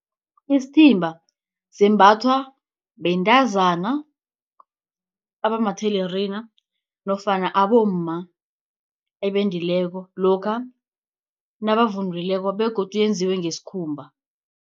Isithimba sembathwa bentazana abamathelerina nofana abomma ebendileko lokha nabavunulileko begodu yenziwe ngesikhumba.